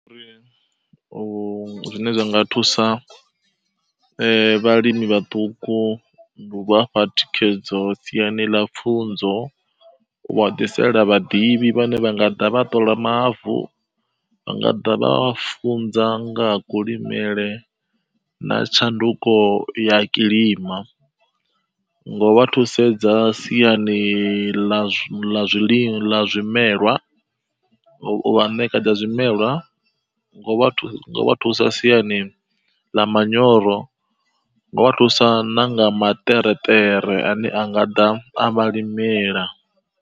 Uri u zwine zwa nga thusa eh vhalimi vhaṱuku ndi u vha fha thikhedzo siani ḽa pfunzo, u vha ḓisela vhaḓivhi vhane vha nga ḓa vha ṱola mavu. Vha nga ḓa vha vha funza nga ha kulimele na tshanduko ya kilima. Ngo vha thusedza siani ḽa zwi ḽa zwiḽiwa, ḽa zwimelwa, u vha ṋekedza zwimelwa, nga u vha thusa siani ḽa manyoro, nga u vha thusa na nga maṱereṱere a ne anga ḓa a vha limela.